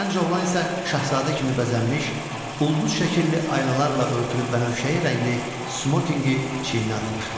Gənc oğlan isə şahzadə kimi bəzənmiş, ulduz şəkilli aynalarla örtülü bənövşəyi rəngli smokinqi çiyinə atmışdı.